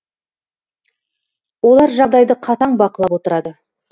олар жағдайды қатаң бақылап отырады